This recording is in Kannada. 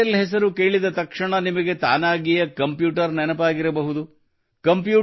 ಇಂಟೆಲ್ ಹೆಸರು ಕೇಳಿದ ತಕ್ಷಣ ನಿಮಗೆ ತಾನಾಗಿಯೇ ಕಂಪ್ಯೂಟರ್ ನೆನಪಾಗಿರಬಹುದು